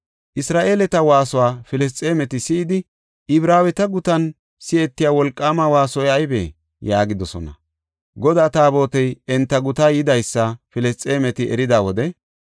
Isra7eeleta waasuwa Filisxeemeti si7idi, “Ibraaweta gutan si7etiya wolqaama waasoy aybee?” yaagidosona. Godaa Taabotey enta gutaa yidaysa Filisxeemeti erida wode,